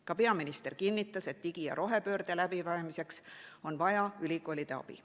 Ka peaminister kinnitas, et digi‑ ja rohepöörde läbiviimiseks on vaja ülikoolide abi.